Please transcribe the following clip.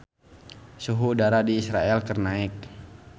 Suhu udara di Israel keur naek